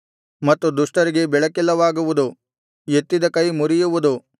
ಮತ್ತು ದುಷ್ಟರಿಗೆ ಬೆಳಕಿಲ್ಲವಾಗುವುದು ಎತ್ತಿದ ಕೈ ಮುರಿಯುವುದು